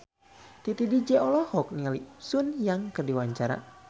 Titi DJ olohok ningali Sun Yang keur diwawancara